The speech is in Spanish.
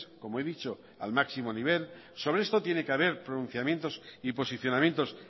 como he dicho al máximo nivel sobre esto tiene que haber pronunciamientos y posicionamientos